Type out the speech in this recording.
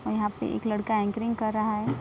और यहां पे एक लड़का एंकरिंग कर रहा है।